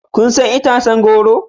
Kun san itacen goro?